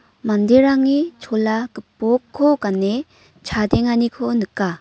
manderangni chola gipokko gane chadenganiko nika.